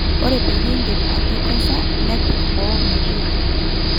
ore peyie in`dip atekesa nepik boo metoito